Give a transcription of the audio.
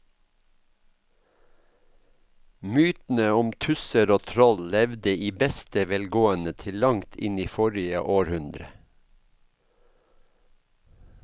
Mytene om tusser og troll levde i beste velgående til langt inn i forrige århundre.